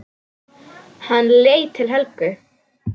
Hann leit til Helgu.